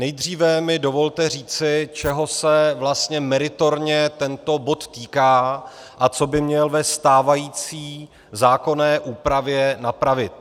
Nejdříve mi dovolte říci, čeho se vlastně meritorně tento bod týká a co by měl ve stávající zákonné úpravě napravit.